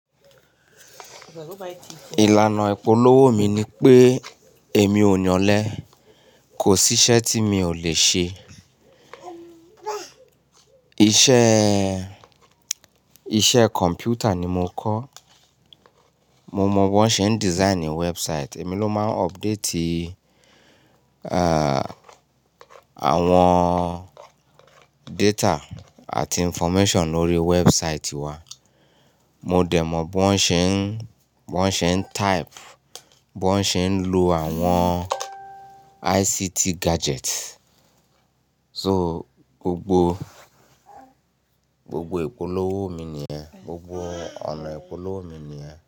Ìlànà ìpolówó mi ni pé èmi ò yọ̀lẹ kò sí iṣẹ́ tí mi ò lè ṣe. Iṣẹ́, iṣẹ́ kọ̀m̀pútà ni mo kọ́. Mo mọ̀ bí wón ṣe ń design website. Èmi ló máa ń update, àwọn data àti information lórí website wa. Mo dẹ̀ mọ̀ bí wón ṣe ń, bí wón ṣe ń type, bí wón ṣe ń lo àwọn ICT gadget. So gbogbo, gbogbo ìpolówó mi nìyẹn. Gbogbo ọ̀nà ìpolówó mi nìyẹn.